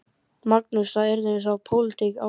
Magnús: Og yrði þá pólitísk ákvörðun?